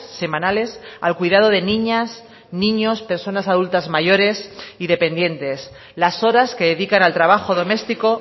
semanales al cuidado de niñas niños personas adultas mayores y dependientes las horas que dedican al trabajo doméstico